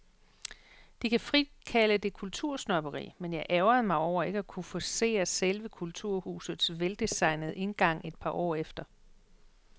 De kan frit kalde det kultursnobberi, men jeg ærgrede mig over ikke at kunne forcere selve kulturhusets veldesignede indgang et par år efter.